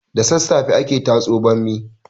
Da sasafe ake tatso bammi